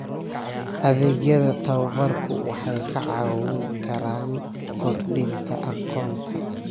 Adeegyada tababarku waxay kaa caawin karaan kordhinta aqoonta.